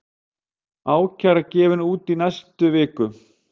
Ákæra gefin út í næstu viku